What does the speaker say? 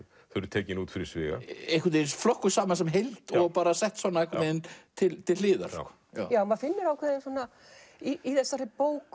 tekin út fyrir sviga einhvern veginn flokkuð saman sem heild og sett svona einhvern veginn til hliðar maður finnur ákveðið í þessari bók